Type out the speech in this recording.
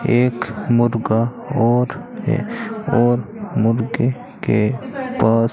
एक मुर्गा और है और मुर्गे के पास--